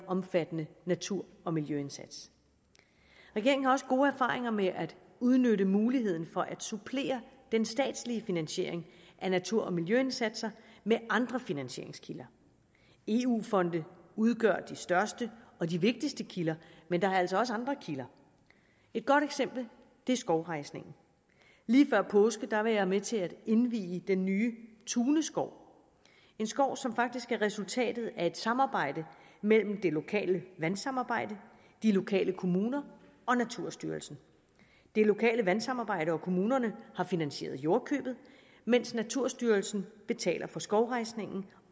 omfattende natur og miljøindsats regeringen har også gode erfaringer med at udnytte muligheden for at supplere den statslige finansiering af natur og miljøindsatser med andre finansieringskilder eu fonde udgør de største og de vigtigste kilder men der er altså også andre kilder et godt eksempel er skovrejsningen lige før påske var jeg med til at indvie den nye tune skov en skov som faktisk er resultatet af et samarbejde mellem det lokale vandsamarbejde de lokale kommuner og naturstyrelsen det lokale vandsamarbejde og kommunerne har finansieret jordkøbet mens naturstyrelsen betaler for skovrejsningen